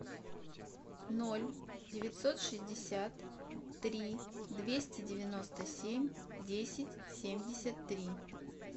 ноль девятьсот шестьдесят три двести девяносто семь десять семьдесят три